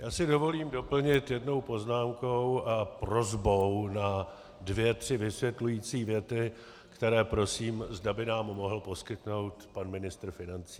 Já si dovolím doplnit jednou poznámkou a prosbou na dvě tři vysvětlující věty, které prosím, zda by nám mohl poskytnout pan ministr financí.